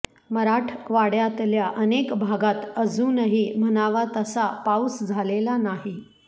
मराठवाड्यातल्या अनेक भागात अजूनही म्हणावा तसा पाऊस झालेला नाही